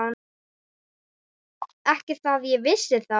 Ekki það ég vissi þá.